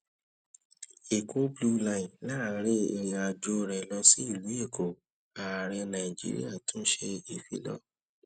èkó blue line láàárín ìrìn àjò rè lọ sí ìlú èkó ààrẹ nàìjíríà tún ṣe ìfilọ